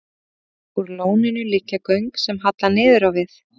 Úr lóninu liggja göng sem halla niður á við.